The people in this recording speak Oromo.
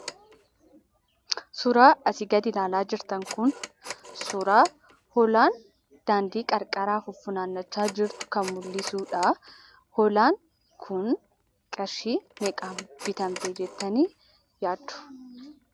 Suuraa asii gadii ilaalaa jirtan kun suuraa hoolaan daandii qarqaraa fuffunaannachaa jirtu mullisuudha. Hoolaan kun qarshii meeqaan bitamti jettanii yaaddu?